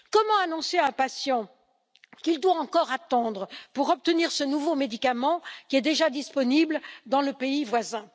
Comment annoncer à un patient qu'il doit encore attendre pour obtenir ce nouveau médicament déjà disponible dans le pays voisin?